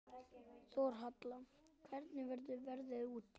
Þórhalla, hvernig er veðrið úti?